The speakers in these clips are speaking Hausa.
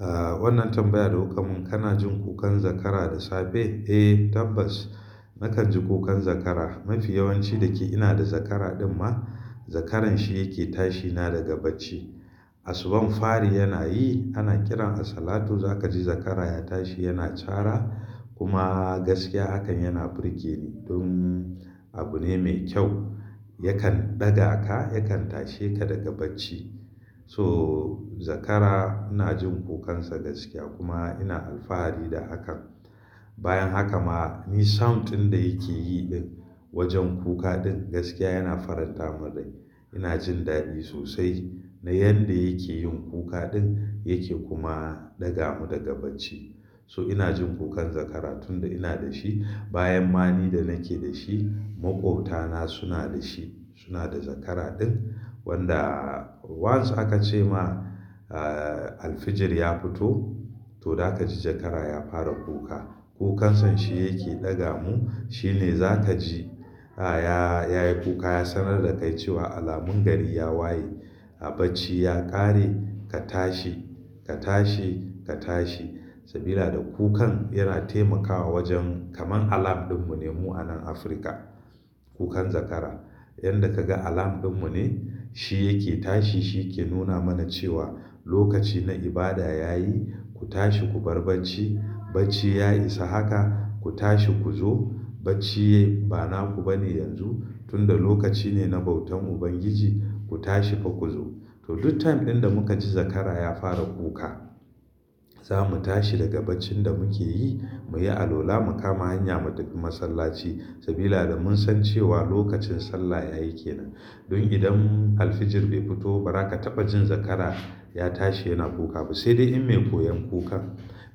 Aaa, wannan tambaya da kukamin, kana jin kukan zakara da safe? Eh tabbas, nakan ji kukan zakara. Mafi yawanci da ke ina da zakara din ma, zakaran shi yake tashi na daga bacci. Asubun fari yana yi, ana kiran a salatu za ka ji zakara ya tashi yana cara kuma gaskiya hakan yana burge ni don abu ne mai kyau. Yakan ɗaga ka, yakan tashe ka daga bacci. So zakara ina jin kukansa gaskiya kuma ina alfahari da hakan. Bayan haka ma ni sound ɗin da yake yi din wajen kuka din gaskiya yana faranta min rai. Ina jin daɗi sosai na yanda yake yin kuka ɗin yake kuma ɗaga mu daga bacci. So ina jin kukan zakara tunda ina da shi. Bayan ma ni da nake da shi, maƙwabtana suna da shi, suna da zakara din wanda once aka ce ma, aaalfijir ya fito to za ka ji zakara ya fara kuka. Kukansa shi yake ɗaga mu, shi ne za ka ji, ya, ya yi kuka ya sanar da kai cewa alamun gari ya waye. A bacci ya ƙare, ka tashi, ka tashi, ka tashi sabida da kukan yana taimakawa wajen kamar alarm din mu ne mu a nan Afirka. Kukan zakara. Yanda ka ga alarm din mu ne, shi yake tashi shi ke nuna mana cewa lokaci na ibada ya yi, ku tashi ku bar bacci. Bacci ya isa haka, ku tashi ku zo. Bacci ba naku ba ne yanzu tunda lokaci ne na bautan Ubangiji, ku tashi fa ku zo. To duk time ɗin da muka ji zakara ya fara kuka, za mu tashi daga baccin da muke yi mu yi alwala mu kama hanyarmu ta masallaci sabida da mun san cewa lokacin sallah ya yake nan. Don idan alfijir bai fito ba ra ka taɓa jin zakara ya tashi yana kuka ba sai dai in mai koyon kukan.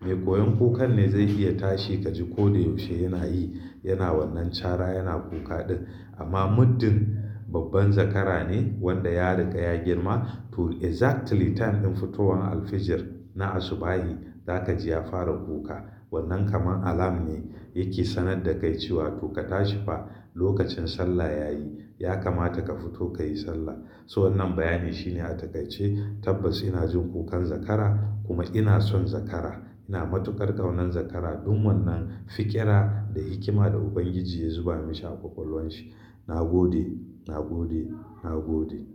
Mai koyon kukan ne zai iya tashi ka ji ko da yaushe yana yi, yana wannan cara yana kuka din amma muddin babban zakara ne wanda ya riƙa ya girma to exactly time din fitowan alfijir na asubahin za ka ji ya fara kuka. Wannan kamar alarm ne yake sanar da kai cewa to ka tashi fa lokacin sallah ya yi. Ya kamata ka fito ka yi sallah. To wannan bayani shi ne a takaice tabbas ina jin kukan zakara kuma ina son zakara. Ina matukar ƙaunar zakara don wannan fiƙira da hikima da Ubangiji ya zuba mashi a kwakwalwan shi. Na gode, na gode, na gode.